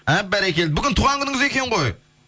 әп бәрекелді бүгін туған күніңіз екен ғой